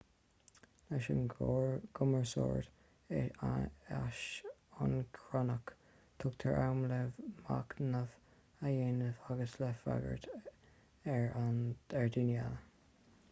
leis an gcumarsáid aisioncronach tugtar am le machnamh a dhéanamh agus le freagairt ar dhaoine eile